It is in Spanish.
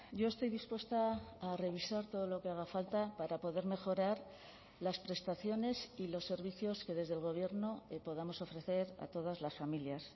yo estoy dispuesta a revisar todo lo que haga falta para poder mejorar las prestaciones y los servicios que desde el gobierno podamos ofrecer a todas las familias